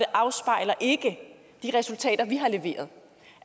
afspejler de resultater de har leveret